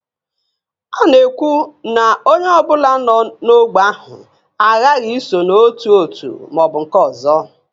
A na-ekwu na onye ọ bụla nọ n'ógbè ahụ aghaghị iso n'otu òtù ma ọ bụ nke ọzọ